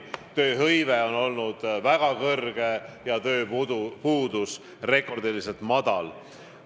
Tööhõive on olnud väga suur ja tööpuudus rekordiliselt väike.